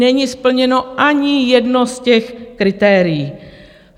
Není splněno ani jedno z těch kritérií.